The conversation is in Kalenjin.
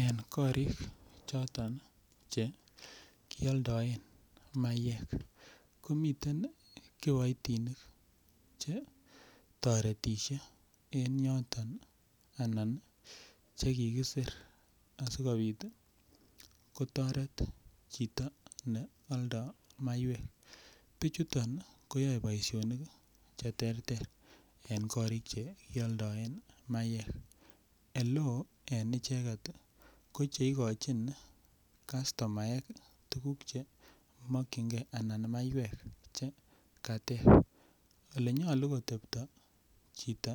en koriik choton che kioldoen maiyeek, koiten kiboitinik che toretishe en yoton anan chegigisir asigibiit kotoret chito ne oldoo maiyweek, bichuton koyoe boishonik cheterter en koriik chekioldoen maiyeek eleoo en icheget iih ko cheigochin kastomaek tuguk chemokyingee anan maiyweek che kateeb, elenyolu kotebto chito